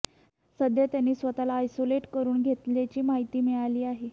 सध्या त्यांनी स्वतःला आयसोलेट करून घेतल्याची माहिती मिळाली आहे